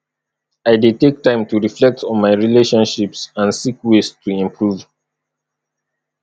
i dey take time to reflect on my relationships and seek ways to improve